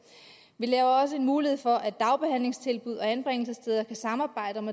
vi laver også en mulighed for at dagbehandlingstilbud og anbringelsessteder kan samarbejde om